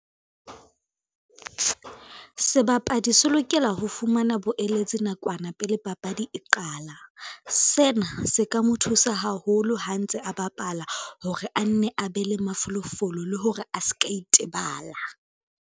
Sebapadi se lokela ho fumana boeletsi nakwana pele papadi e qala. Sena se ka mo thusa haholo ha ntse a bapala hore a nne a be le mafolofolo, le hore a ska itebala.